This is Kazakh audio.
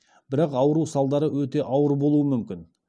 бірақ ауру салдары өте ауыр болуы мүмкін